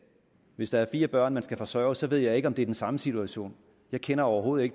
hvis der er fire børn der skal forsørges ved jeg ikke om det er den samme situation jeg kender overhovedet